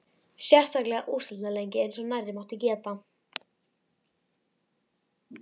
Sérstaklega úrslitaleiki eins og nærri mátti geta.